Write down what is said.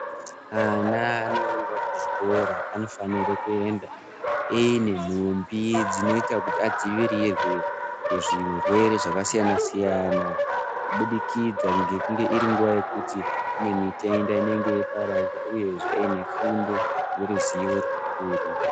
Ana anoenda kuzvikora anofanira kuende aine nhumbi dzinoitwa kuti adzivirirwe kuzvirwere zvakasiyana siyana kubudikidza ngenguva yekuti kune mitenda inopararira uyezve une fundi yeruzivo urwu.